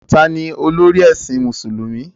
Taa ni olórí ẹ̀sìn Mùsùlùmí?